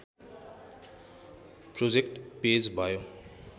project page भयो